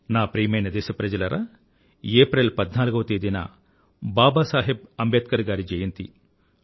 నా ప్రియమైన దేశప్రజలారా ఏప్రిల్ 14 వ తేదీన బాబా సాహెబ్ అంబేద్కర్ గారి జయంతి